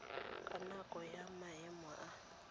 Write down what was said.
ka nako ya maemo a